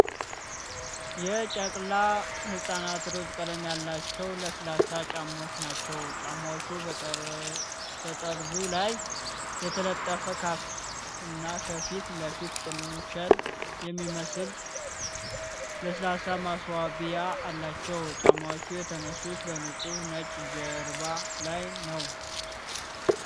የጨቅላ ህፃናት ሮዝ ቀለም ያላቸው ለስላሳ ጫማዎች ናቸው። ጫማዎቹ በጠርዙ ላይ የተጠለፈ ካፍ እና ከፊት ለፊት ጥንቸል የሚመስል ለስላሳ ማስዋቢያ አላቸው። ጫማዎቹ የተነሱት በንጹህ ነጭ ጀርባ ላይ ነው።